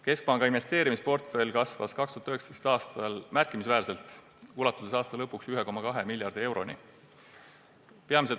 Keskpanga investeerimisportfell kasvas 2019. aastal märkimisväärselt, ulatudes aasta lõpuks 1,2 miljardi euroni.